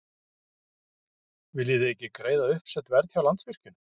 Viljið þið ekki greiða uppsett verð hjá Landsvirkjun?